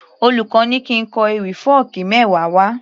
Olùkó ní kín kọ ewì fọ́ọ̀kí mẹ́wa wá